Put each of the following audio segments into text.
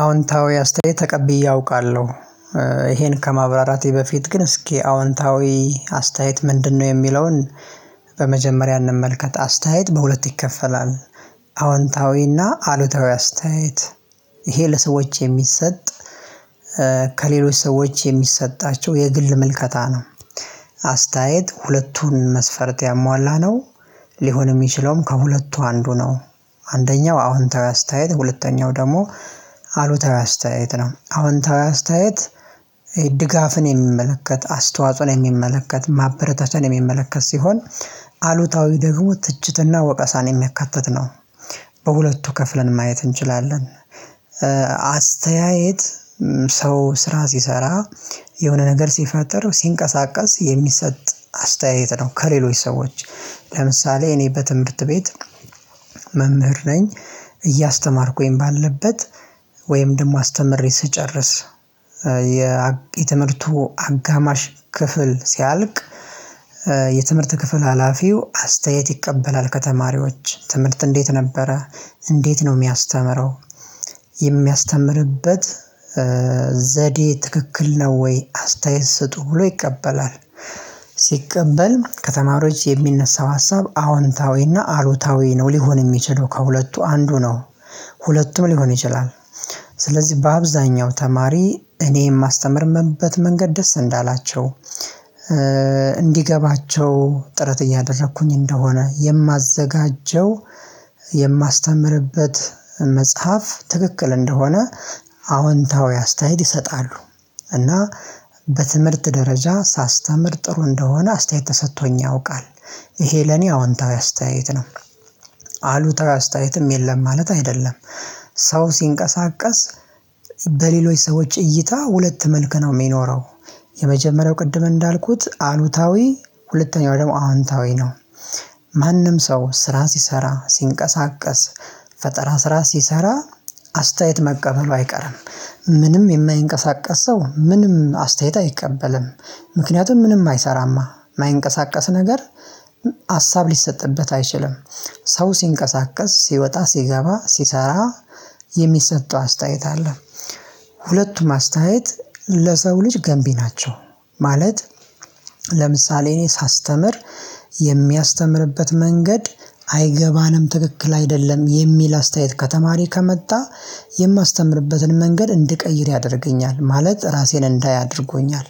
አዎንታዊ አስተያየት ተቀብዬ አውቃለሁ። ይሄን ከማብራራቴ በፊት ግን እስኪ አዎንታዊ አስተያየት ምንድነው የሚለውን? በመጀመሪያ እንመልከት አስተያየት በሁለት ይከፈላል። አሉታዊ አስተያየት። ይሄ ለሰዎች የሚሰጥ ከሌሎች ሰዎች የሚሰጣቸው የግል ምልከታ ነው። አስተያየት ሁለቱን መስፈርት ያሟላ ነው። ሊሆን የሚችለውም ከሁለቱ አንዱ ነው። አንደኛው አሁን ተራ ስታየት ሁለተኛው ደግሞ አሉታዊ አስተያየት ነው አዎንታዊ አስተያየት። ድጋፍን የሚመለከት አስተዋጽኦ ላይ የሚመለከት ማበረታቻን የሚመለከት ሲሆን። አሉታዊ ደግሞ ትችትና ወቀሳን የሚያካትት ነው። በሁለቱ ከፍለን ማየት እንችላለን። አስተያየት ሰው ስራ የሆነ ነገር ሲፈጠር ሲንቀሳቀስ የሚሰጥ አስተያየት ነው። ከሌሎች ሰዎች ለምሳሌ እኔ በትምህርት ቤት። መምህር ነኝ። እያስተማርኩኝ ባለበት ደግሞ አስተምሬ ስጨርስ። የትምህርቱ አጋማሽ ክፍል ሲያልቅ። የትምህርት ክፍል ሀላፊው አስተያየት ይቀበላል ከተማሪዎች ትምህርት እንዴት ነበረ? እንዴት ነው የሚያስተምረው? የሚያስተምርበት ዘዴ ትክክል ነው ወይ አስተያየት ስጡ ብሎ ይቀበላል። ሲቀበል ከተማሪዎች የሚነሳው ሀሳብ አዎንታዊና አሉታዊ ነው ሊሆን የሚችለው ከሁለቱ አንዱ ነው። ሁለቱም ሊሆን ይችላል። ስለዚህ በአብዛኛው ተማሪ እኔ የማስተምርምበት መንገድ ደስ እንዳላቸው እንዲገባቸው ጥረት እያደረኩኝ እንደሆነ የማዘጋጀው። የማስተምርበት መጽሐፍ ትክክል እንደሆነ አዎንታዊ አስተያየት ይሰጣሉ። እና በትምህርት ደረጃ ሳስተምር ጥሩ እንደሆነ አስተያየት ተሰጥቶኝ ያውቃል። ይሄ ለኔ አዎንታዊ አስተያየት ነው። አሉታዊ አስተያየትም የለም ማለት አይደለም። ሰው ሲንቀሳቀስ በሌሎች ሰዎች እይታ ሁለት መልክ ነው የሚኖረው። የመጀመሪያው ቅድም እንዳልኩት አሉታዊ ሁለተኛው ደግሞ አዎንታዊ ነው። ማንም ሰው ስራ ሲሰራ ሲንቀሳቀስ ፈጠራ ስራ ሲሰራ አስተያየት መቀበሉ አይቀርም። ምንም የማይንቀሳቀስ ሰው ምንም አስተያየት አይቀበልም። ምክንያቱም ምንም አይሰራማ የማይንቀሳቀስ ነገር። ሀሳብ ሊሰጥበት አይችልም። ሰው ሲንቀሳቀስ ሲወጣ ሲገባ ሲሰራ የሚሰጠው አስተያየት አለ። ሁለቱም አስተያየት ለሰው ልጅ ገንቢ ናቸው። ማለት እኔ ሳስተምር የሚያስተምርበት መንገድ አይገባንም ትክክል አይደለም የሚል አስተያየት ከተማሪ ከመጣ። የማስተምርበትን መንገድ እንድቀይር ያደርገኛል ማለት ራሴን እንዳያደርጎኛል።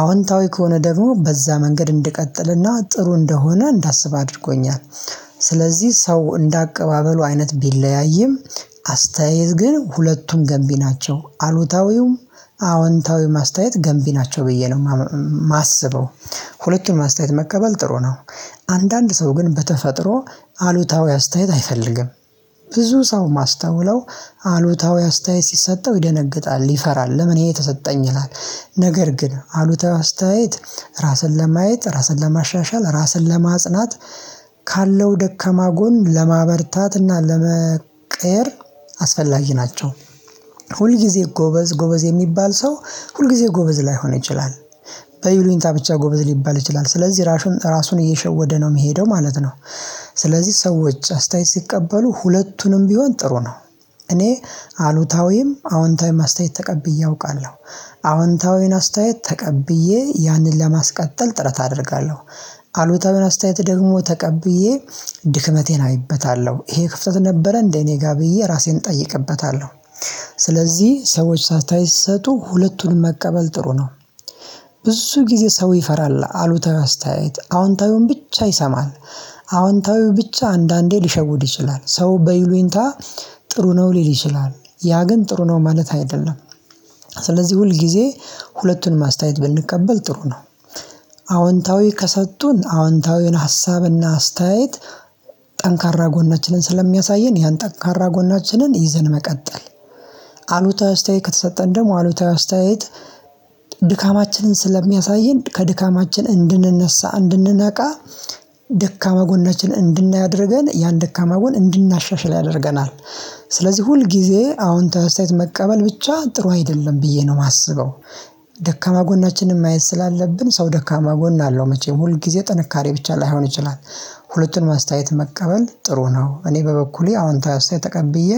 አዎንታዊ ከሆነ ደግሞ በዛ መንገድ እንድቀጥልና ጥሩ እንደሆነ እንዳስብ አድርጎኛል። ስለዚህ ሰው እንደ አቀባበሉ አይነት ቢለያይም አስተያየት ግን ሁለቱም ገንቢ ናቸው አሉታዊውም አዎንታዊውም አስተያየት ገንቢ ናቸው ብዬ ነው የማስበው። ሁለቱንም አስተያየት መቀበል ጥሩ ነው። አንዳንድ ሰው ግን በተፈጥሮ አሉታዊ አስተያየት አይፈልግም። ብዙ ሰው ማስተውለው አሉታዊ አስተያየት ሲሰጠው ይደነግጣል ይፈራል ለምን ይሄ የተሰጠኝ ይላል? ነገር ግን አሉታዊ አስተያየት ራስን ለማየት ራስን ለማሻሻል ራስን ለማጽናት። ካለው ደከማ ጎን ለማበርታት እና ለመቀየር አስፈላጊ ናቸው። ሁልጊዜ ጎበዝ ጎበዝ የሚባል ሰው ሁልጊዜ ጎበዝ ላይሆን ይችላል። በይሉኝታ ብቻ ጎበዝ ሊባል ይችላል ስለዚህ ራሱን ራሱን እየሸወደ ነው የሚሄደው ማለት ነው። ስለዚህ ሰዎች አስተያየት ሲቀበሉ ሁለቱንም ቢሆን ጥሩ ነው። እኔ አሉታዊም አዎንታዊም አስተያየት ተቀብዬ አውቃለሁ። አዎንታዊውን አስተያየት ተቀብዬ ያንን ለማስቀጠል ጥረት አደርጋለሁ። አሉታዊውን አስተያየት ደግሞ ተቀብዬ ድክመቴን አይበታለሁ ይሄ ክፍተት ነበረ እንደ እኔ ጋር ብዬ ራሴን እጠይቅበታለሁ። ስለዚህ ሰዎች አስተያየት ሲሰጡ ሁለቱንም መቀበል ጥሩ ነው። ብዙ ጊዜ ሰው ይፈራል አሉታዊ አስተያየት አዎንታዊውን ብቻ ይሰማል። አዎንታዊው ብቻ አንዳንዴ ሊሸውድ ይችላል ሰው በይሉንታ ጥሩ ነው ሊል ይችላል። ያ ግን ጥሩ ነው ማለት አይደለም። ስለዚህ ሁል ጊዜ ሁለቱን አስተያየት ብንቀበል ጥሩ ነው። አዎንታዊ ከሰጡን አዎንታዊውን ሀሳብና አስተያየት ጠንካራ ጎናችንን ስለሚያሳየን ያን ጠንካራ ጎናችንን ይዘን መቀጠል። አሉታዊ አስተያየት ከተሰጠን ደግሞ አሉታዊ አስተያየት ድካማችንን ስለሚያሳየን ከድካማችን እንድንነሳ እንድንነቃ። ደካማ ጎናችን እንድናይ አድርገን ያን ደካማ ጎን እንድናሻሽል ያደርገናል። ስለዚህ ሁል ጊዜ አዎንታዊ አስተያየት መቀበል ብቻ ጥሩ አይደለም ብዬ ነው የማስበው። ደካማ ጎናችንን ማየት ስላለብን ሰው ደካማ ጎን አለው መቼም ሁል ጊዜ ጥንካሬ ብቻ ላይሆን ይችላል። ሁለቱን መስተያየት መቀበል ጥሩ ነው። እኔ በበኩሌ አዎንታዊ አስተያየት ተቀብዬ